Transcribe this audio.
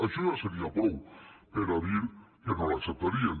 això ja seria prou per a dir que no l’acceptaríem